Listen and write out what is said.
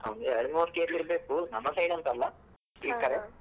ಒಂದ್ ಎರಡ್ಮೂರ್ case ಇರ್ಬೇಕು ನಮ್ಮ side ಅಂತ ಅಲ್ಲ .